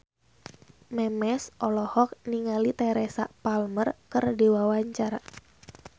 Memes olohok ningali Teresa Palmer keur diwawancara